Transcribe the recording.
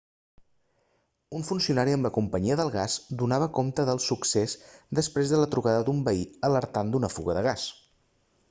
un funcionari amb la companyia del gas donava compte del succés després de la trucada d'un veí alertant d'una fuga de gas